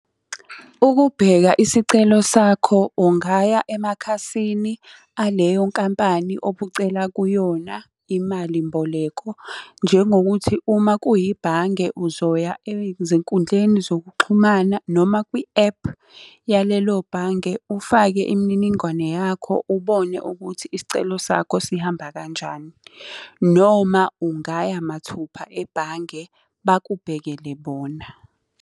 Ukubheka isicelo sakho, ungaya emakhasini aleyo nkampani obucela kuyona imalimboleko. Njengokuthi uma kuyibhange uzoya ezinkundleni zokuxhumana noma kwi-app yalelo bhange ufake imininingwane yakho ubone ukuthi isicelo sakho sihamba kanjani. Noma ungaya mathupha ebhange bakubhekele bona.